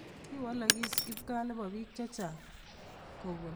Kikowalakis kipkaa nebo bik chechang kobun